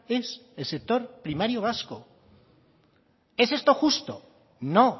es el sector primario vasco es esto justo no